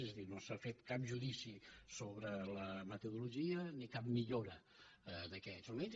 és a dir no s’ha fet cap judici sobre la metodologia ni cap millora en aquests moments